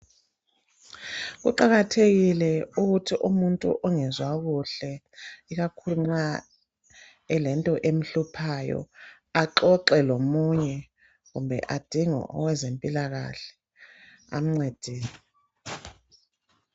Kuqakathekile ukuthi umuntu ongezwa kuhle ikakhulu nxa elento emhluphayo axoxe lomunye kumbe adinge owezempilakahle amncedise.